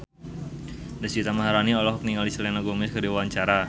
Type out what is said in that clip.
Deswita Maharani olohok ningali Selena Gomez keur diwawancara